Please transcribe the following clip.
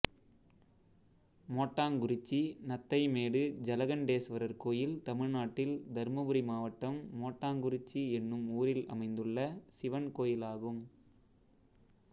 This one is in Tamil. மோட்டாங்குறிச்சி நத்தை மேடு ஜலகண்டேஸ்வரர் கோயில் தமிழ்நாட்டில் தர்மபுரி மாவட்டம் மோட்டாங்குறிச்சி என்னும் ஊரில் அமைந்துள்ள சிவன் கோயிலாகும்